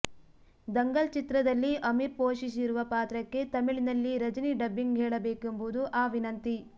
ದಂಗಲ್ ಚಿತ್ರದಲ್ಲಿ ಅಮೀರ್ ಪೋಷಿಸಿರುವ ಪಾತ್ರಕ್ಕೆ ತಮಿಳಿನಲ್ಲಿ ರಜನಿ ಡಬ್ಬಿಂಗ್ ಹೇಳಬೇಕೆಂಬುದು ಆ ವಿನಂತಿ